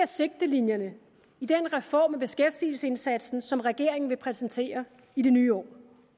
sigtelinjerne i den reform af beskæftigelsesindsatsen som regeringen vil præsentere i det nye år